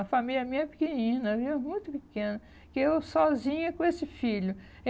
A família minha é pequenina viu, muito pequena, que eu sozinha com esse filho.